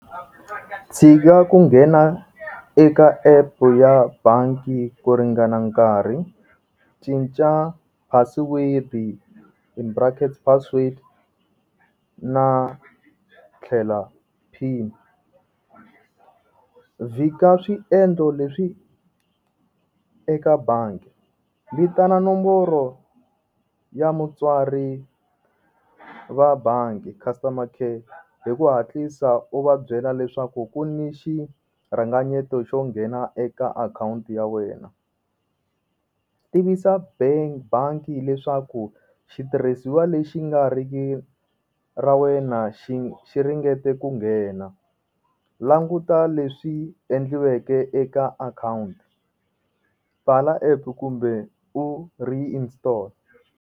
Tshika ku nghena eka epu ya bangi ku ringana nkarhi cinca password in brackets password na tlhela pin, vhika swiendlo leswi eka bangi vitana nomboro ya mutswari va bangi customer care hi ku hatlisa u va byela leswaku ku ni xi rhanganyeto xo nghena eka akhawunti ya wena tivisa bank bangi leswaku xitirhisiwa lexi nga riki ra wena xi xi ringete ku nghena languta leswi endliweke eka akhawunti pfala app kumbe u reinstall.